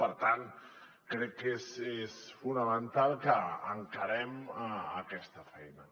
per tant crec que és fonamental que encarem aquesta feina